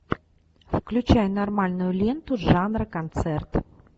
включай нормальную ленту жанра концерт